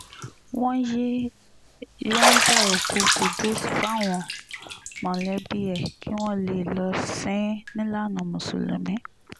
wọ́n ti yọ̀ǹda òkú qudus fáwọn mọ̀lẹ́bí ẹ̀ kí wọ́n lè lọ́ọ́ sìn-ín nílànà mùsùlùmí